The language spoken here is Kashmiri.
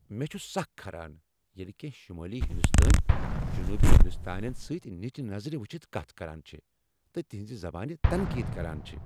مےٚ چھ سكھ کھران ییٚلہ کٮ۪نٛہہ شمٲلی ہندوستٲنۍ جنوبی ہندوستٲنین سۭتۍ نچہ نظر وچھتھ کتھ کران چھِ تہٕ تہنزِ زبانہِ تنقید کران چھِ ۔